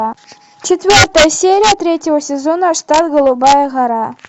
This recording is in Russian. четвертая серия третьего сезона штат голубая гора